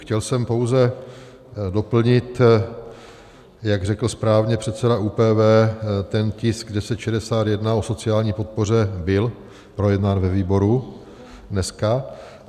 Chtěl jsem pouze doplnit, jak řekl správně předseda ÚPV, ten tisk 1061 o sociální podpoře byl projednán ve výboru dneska.